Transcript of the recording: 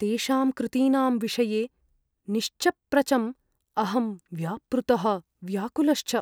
तेषां कृतीनां विषये निश्चप्रचम् अहं व्यापृतः व्याकुलश्च।